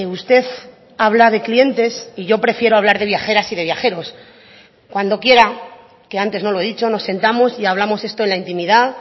usted habla de clientes y yo prefiero hablar de viajeras y de viajeros cuando quiera que antes no lo he dicho nos sentamos y hablamos esto en la intimidad